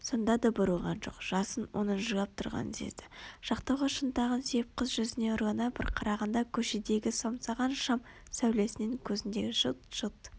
сонда да бұрылған жоқ жасын оның жылап тұрғанын сезді жақтауға шынтағын сүйеп қыз жүзіне ұрлана бір қарағанда көшедегі самсаған шам сәулесінен көзіндегі жылт-жылт